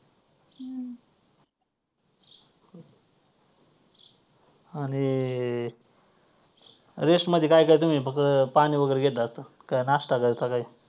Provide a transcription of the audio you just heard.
आणि rest मध्ये काय काय तुम्ही फक्त पाणी वगैरे घेता का नाष्टा करता काय